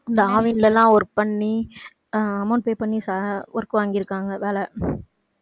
இந்த ஆவின்ல எல்லாம் work பண்ணி அஹ் amount pay பண்ணி ச~ work வாங்கிருக்காங்க வேலை.